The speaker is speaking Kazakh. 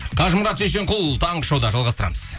қажымұрат шешенқұл таңғы шоуда жалғастырамыз